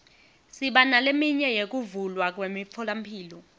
siba neleminye yekuvulwa kwemitfolamphilo